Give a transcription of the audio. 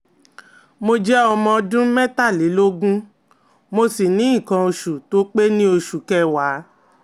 Mo jẹ́ ọmọ ọdún mẹ́tàlélógún, mo si ni ikan osu to pe ni osu keewa